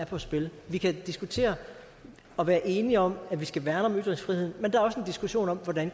på spil vi kan diskutere og være enige om at vi skal værne om ytringsfriheden men der er diskussion om hvordan